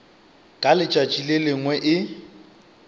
ka letšatši le lengwe e